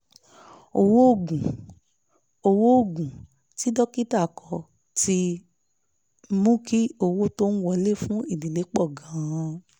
owó oògùn owó oògùn tí dókítà kọ ti mú kí owó tó ń wọlé fún ìdílé pọ̀ gan-an